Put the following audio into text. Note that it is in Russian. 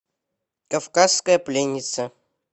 кавказская пленница